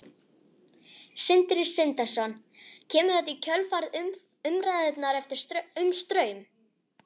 Sindri Sindrason: Kemur þetta í kjölfar umræðunnar um Straum?